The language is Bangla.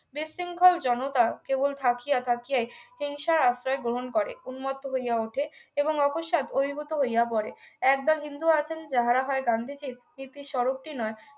উৎশৃংখল জনতায কেবল থাকিয়া থাকিয়ায় হিংসার আশ্রয় গ্রহণ করে উন্নত হইয়া ওঠে এবং অকস্মাৎ অভিভূত হইয়া পড়ে একদল হিন্দু আছেন যাহারা হয় গান্ধীজীর কিন্তু স্বরূপটি নয়